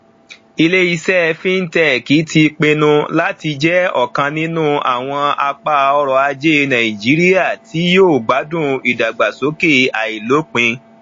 iléiṣẹ fintech ti pinnu láti jẹ ọkan nínú àwọn apá ọrọajé nàìjíríà tí yóò gbádùn ìdàgbàsókè àìlópin